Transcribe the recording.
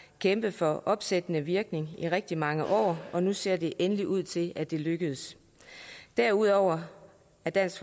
kæmpet for opsættende virkning i rigtig mange år og nu ser det endelig ud til at det lykkes derudover er dansk